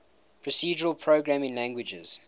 procedural programming languages